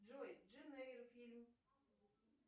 джой джейн эйр фильм